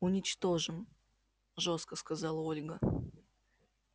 уничтожим жёстко сказала ольга